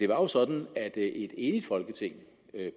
var jo sådan at et enigt folketing